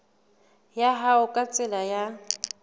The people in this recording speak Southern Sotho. ya hao ka tsela ya